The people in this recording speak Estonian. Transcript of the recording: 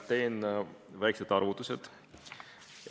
Teen väikesed arvutused.